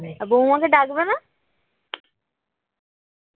আর বৌমাকে ডাকবে না